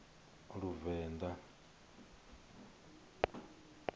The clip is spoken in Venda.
luvenḓa